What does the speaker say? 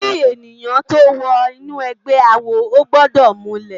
Ki èniyán tó wò inú ègbè àwó ógbòdò múlè